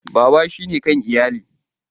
Baba shine kan iyali.